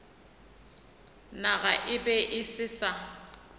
naga e be e sa